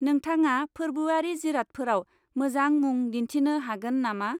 नोंथाङा फोर्बोआरि जिरादफोराव मोजां मुं दिन्थिनो हागोन नामा?